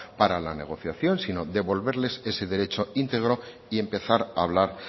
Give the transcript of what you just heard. para la negociación sino devolverles ese derecho íntegro y empezar a hablar